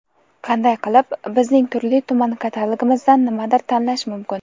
Qanday qilib bizning turli-tuman katalogimizdan nimadir tanlash mumkin?.